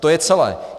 To je celé.